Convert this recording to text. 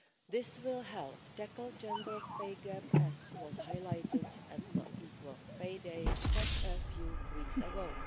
This will help tackle the gender pay gap, as was highlighted at the Equal Pay Day just a few weeks ago.